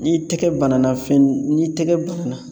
N'i tɛgɛ banana fen n'i tɛgɛ banana